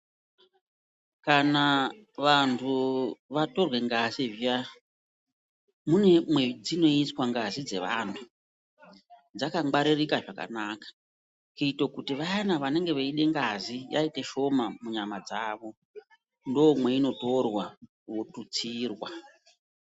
Kana vantu vatorwe ngazi zviyani mune mwedzino iswa ngazi dze vantu dzaka ngwaririka zvakanaka kuite kuti vayana vanenge veide ngazi yaite shoma mu nyama dzavo ndo mweiono torwa votutsirwa.